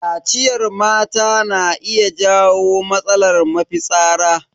Kaciyar mata na iya jawo matsalar mafitsara.